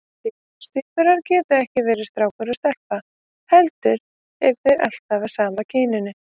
Síamstvíburar geta ekki verið strákur og stelpa heldur eru þeir alltaf af sama kyninu.